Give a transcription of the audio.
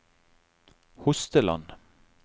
Hosteland